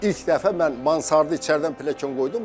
İlk dəfə mən Mansardı içəridən pilyakan qoydum.